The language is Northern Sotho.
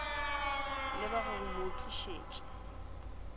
le ba go mo tlišetša